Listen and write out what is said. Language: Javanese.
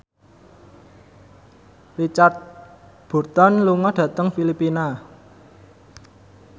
Richard Burton lunga dhateng Filipina